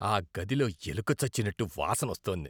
ఆ గదిలో ఎలుక చచ్చినట్టు వాసన వస్తోంది.